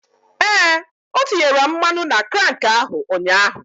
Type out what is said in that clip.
Ee, o tinyere mmanụ na krank ahụ ụnyaahụ.